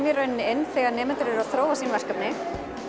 í rauninni inn þegar nemendur eru að þróa sín verkefni